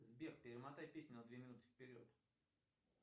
сбер перемотай песню на две минуты вперед